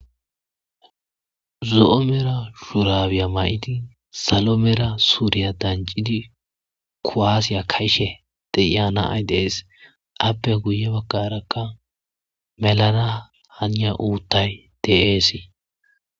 Zo7o mera shuraabiya may7idi salo mera suriya danccidi kuwaasiya ka7ishe de7iya na7ay de7ees; appe guye baggaarakka melana haniya uuththay de7eesi.